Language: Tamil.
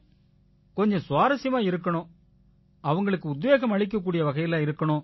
கொஞ்சம் சுவாரசியமா இருக்கணும் அவங்களுக்கு உத்வேகம் அளிக்க கூடிய வகையில இருக்கணும்